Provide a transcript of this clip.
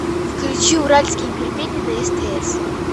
включи уральские пельмени на стс